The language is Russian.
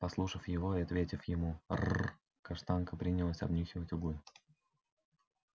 послушав его и ответив ему рр каштанка принялась обнюхивать углы